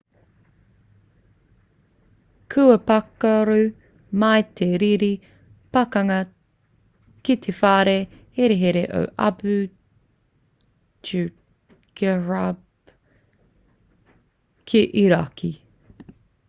kua pakaru mai te riri pakanga ki te whare herehere o abu ghraib kei irāki